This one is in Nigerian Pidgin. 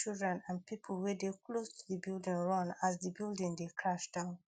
children and pipo wey dey close to di building run as di building dey crash down